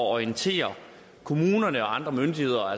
orientere kommunerne og andre myndigheder